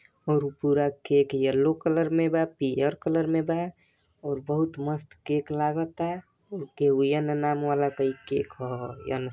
और उ पूरा केक येलो कलर में बा पियर कलर में बा और बोहुत मस्त केक लागता यन नाम वाला कई केक हौ यन ह।